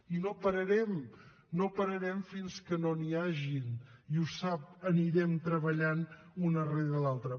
i no pararem no pararem fins que no n’hi hagin i ho sap anirem treballant una rere l’altra